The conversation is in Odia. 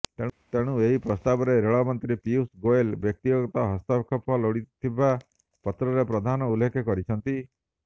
ତେଣୁ ଏହି ପ୍ରସ୍ତାବରେ ରେଳମନ୍ତ୍ରୀ ପିୟୂଷ ଗୋଏଲଙ୍କ ବ୍ୟକ୍ତିଗତ ହସ୍ତକ୍ଷେପ ଲୋଡିଥିବା ପତ୍ରରେ ପ୍ରଧାନ ଉଲ୍ଲେଖ କରିଛନ୍ତିି